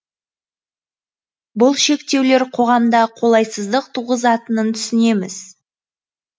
бұл шектеулер қоғамда қолайсыздық туғызатынын түсінеміз